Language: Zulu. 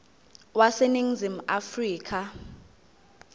wase ningizimu afrika